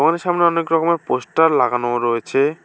ঘরের সামনে অনেকরকমের পোস্টার লাগানো রয়েছে।